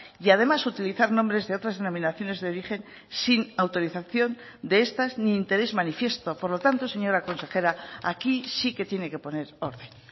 y además utilizar nombres de otras denominaciones de origen sin autorización de estas ni interés manifiesto por lo tanto señora consejera aquí sí que tiene que poner orden